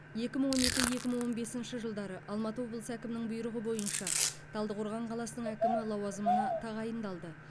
екі мың он екі екі мың он бесінші жылдары алматы облысы әкімінің бұйрығы бойынша талдықорған қаласының әкімі лауазымына тағайындалды